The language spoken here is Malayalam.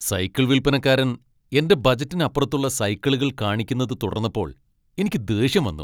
സൈക്കിൾ വിൽപ്പനക്കാരൻ എന്റെ ബജറ്റിനപ്പുറത്തുള്ള സൈക്കിളുകൾ കാണിക്കുന്നത് തുടർന്നപ്പോൾ എനിക്ക് ദേഷ്യം വന്നു .